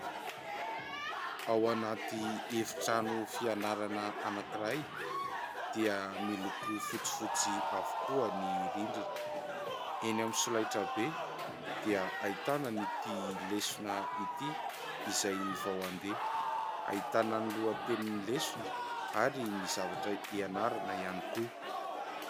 Ao anaty efitrano fianarana anankiray dia miloko fotsifotsy avokoa ny rindrina. Enỳ amin'ny solaitrabe dia ahitana ity lesona ity izay vao andeha. Ahitana ny lohatenin'ny lesona ary ny zavatra ianarana ihany koa.